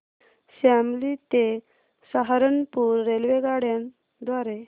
शामली ते सहारनपुर रेल्वेगाड्यां द्वारे